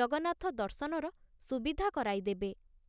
ଜଗନ୍ନାଥ ଦର୍ଶନର ସୁବିଧା କରାଇଦେବେ!